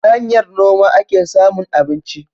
Ta hanyar noma ake samun abinci.